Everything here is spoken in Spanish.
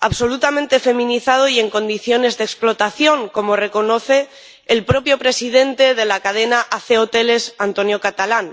absolutamente feminizado y en condiciones de explotación —como reconoce el propio presidente de la cadena AC Hoteles, Antonio Catalán—.